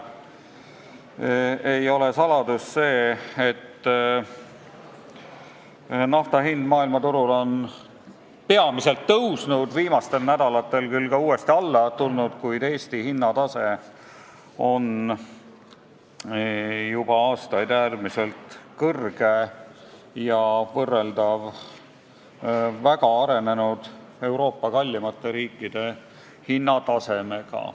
See ei ole saladus, et nafta hind maailmaturul on peamiselt tõusnud – viimastel nädalatel on see küll ka uuesti alla tulnud –, samal ajal kui Eesti hinnatase on juba aastaid äärmiselt kõrge olnud ja võrreldav Euroopa väga arenenud, kallimate riikide hinnatasemega.